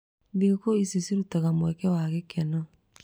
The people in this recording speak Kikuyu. Thigũkũ ici cirutaga mweke wa gĩkeno.